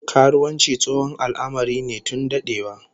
Karuwanci tsohon al'amari ne tun dadewa